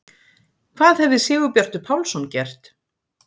Hvað hefði Sigurbjartur Pálsson gert?